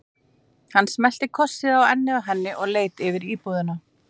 Hann smellti kossi á ennið á henni og leit yfir íbúðina.